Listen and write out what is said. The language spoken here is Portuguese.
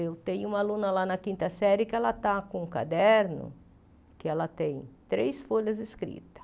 Eu tenho uma aluna lá na quinta série que ela está com um caderno que ela tem três folhas escritas.